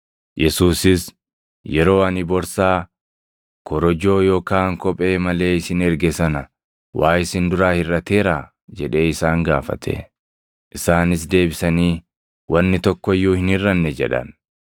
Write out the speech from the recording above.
Yesuusis, “Yeroo ani borsaa, korojoo yookaan kophee malee isin erge sana waa isin duraa hirʼateeraa?” jedhee isaan gaafate. Isaanis deebisanii, “Wanni tokko iyyuu hin hirʼanne” jedhan.